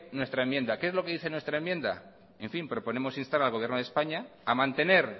nuestra enmienda qué es lo que dice nuestra enmienda proponemos instar al gobierno de españa a mantener